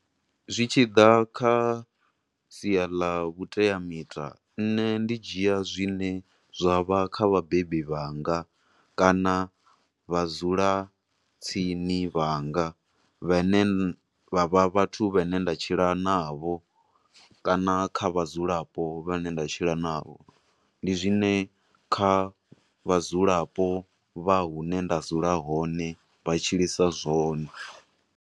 Zwi tshi ḓa kha sia ḽa vhuteamita nne ndi dzhia zwine zwa vha kha vhabebi vhanga, kana vhadzula tsini vhanga vhe ne vha vha vhathu vhe ne nda tshila na vho, kana kha vhadzulapo vhane nda tshila na vho, ndi zwine kha vhadzulapo vha hune nda dzula hone vha tshilisa zwone.